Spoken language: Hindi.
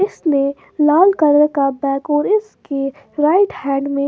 इसने लाल कलर का बैक और इसके राइट हैन्ड मे --